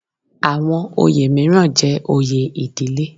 Àwọn oyè mìíràn jẹ́ oyè ìdílé